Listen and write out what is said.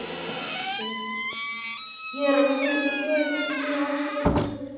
Ég er mjög ástríðufullur fyrir því.